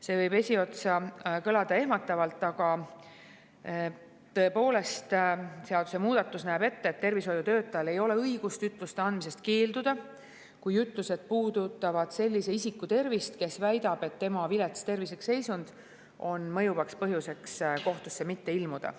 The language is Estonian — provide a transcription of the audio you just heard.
See võib esiotsa kõlada ehmatavalt, aga tõepoolest, seadusemuudatus näeb ette, et tervishoiutöötajal ei ole õigust ütluste andmisest keelduda, kui ütlused puudutavad sellise isiku tervist, kes väidab, et tema vilets tervislik seisund on mõjuvaks põhjuseks kohtusse mitte ilmuda.